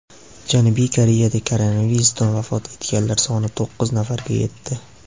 Janubiy Koreyada koronavirusdan vafot etganlar soni to‘qqiz nafarga yetdi.